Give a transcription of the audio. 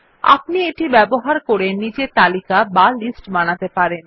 আপনি এটি ব্যবহার করে নিজে তালিকা বা লিস্ট বানাতে পারবেন